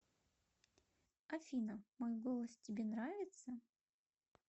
афина мой голос тебе нравится